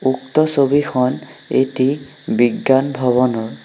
উক্ত ছবিখন এটি বিজ্ঞান ভৱনৰ।